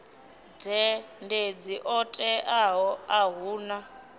dzhendedzi ḽo teaho a huna